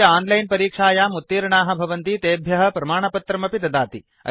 ये च आन्लैन् परीक्षायाम् उत्तीर्णाः भवन्ति तेभ्यः प्रमाणपत्रम् अपि ददाति